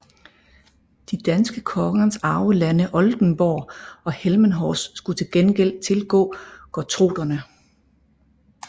De danske kongers arvelande Oldenborg og Delmenhorst skulle til gengæld tilgå gottorperne